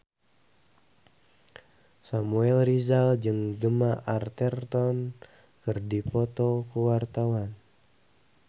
Samuel Rizal jeung Gemma Arterton keur dipoto ku wartawan